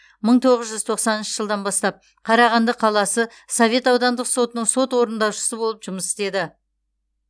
мың тоғыз жүз тоқсаныншы жылдан бастап қарағанды қаласы совет аудандық сотының сот орындаушысы болып жұмыс істеді